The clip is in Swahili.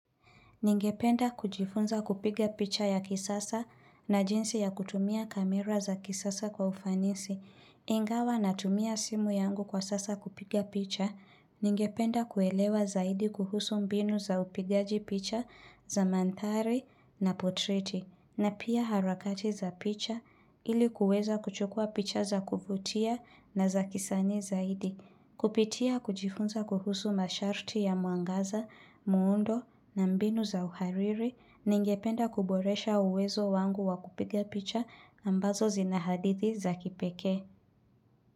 Ningependa kujifunza kupiga picha ya kisasa na jinsi ya kutumia kamera za kisasa kwa ufanisi. Ingawa natumia simu yangu kwa sasa kupiga picha. Ningependa kuelewa zaidi kuhusu mbinu za upigaji picha za mantari na potriti. Na pia harakati za picha ili kuweza kuchukua picha za kufutia na za kisani zaidi. Kupitia kujifunza kuhusu masharti ya muangaza, muundo na mbinu za uhariri ningependa kuboresha uwezo wangu wa kupiga picha ambazo zinahadithi za kipeke.